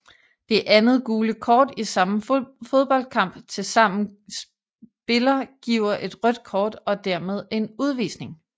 Det andet gule kort i samme fodboldkamp til sammen spiller giver et rødt kort og dermed en udvisning